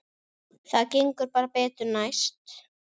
Það gengur bara betur næst.